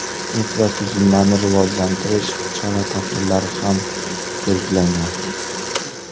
Infratuzilmani rivojlantirish chora-tadbirlari ham belgilangan.